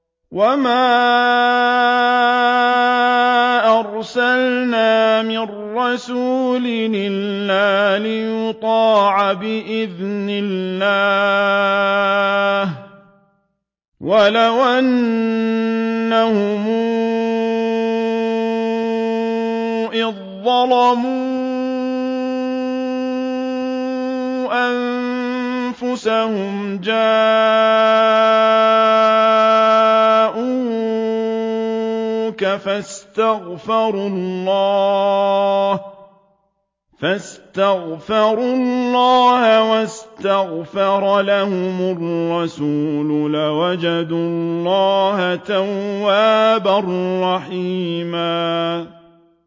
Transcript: وَمَا أَرْسَلْنَا مِن رَّسُولٍ إِلَّا لِيُطَاعَ بِإِذْنِ اللَّهِ ۚ وَلَوْ أَنَّهُمْ إِذ ظَّلَمُوا أَنفُسَهُمْ جَاءُوكَ فَاسْتَغْفَرُوا اللَّهَ وَاسْتَغْفَرَ لَهُمُ الرَّسُولُ لَوَجَدُوا اللَّهَ تَوَّابًا رَّحِيمًا